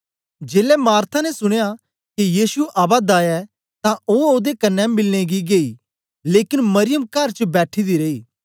जेलै मार्था ने सुनया के यीशु आवा दा ऐ तां ओ ओदे कन्ने मिलनें गी गेई लेकन मरियम कर च बैठी दी रेई